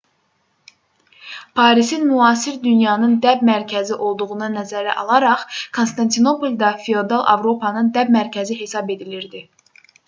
parisin müasir dünyanın dəb mərkəzi olduğunu nəzərə alaraq konstantinopol da feodal avropanın dəb mərkəzi hesab edilirdi